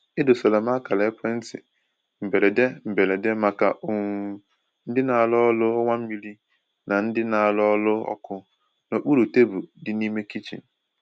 E dosara m akara ekwentị mberede mberede maka um ndị na-arụ ọrụ ọwa mmiri na ndị na-arụ ọrụ ọkụ n’okpuru tebụl di n'ime kichin.